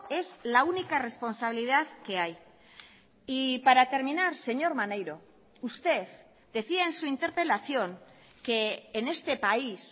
es la única responsabilidad que hay y para terminar señor maneiro usted decía en su interpelación que en este país